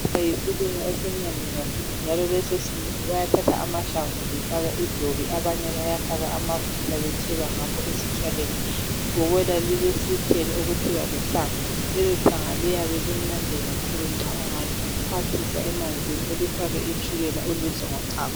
Ibhobola yisilimo esimnandi kakhulu njalo leso isilimo bayathatha amahlamvu befake idobi, abanye bayafaka amafutha betshebe ngakho esitshwaleni, ibhobola lilesithelo okuthiwa lithanga lelithanga liyabe limnandi kakhulu nxa ungalixhwathisa emanzini ulifake itshukela ulidle ngochago.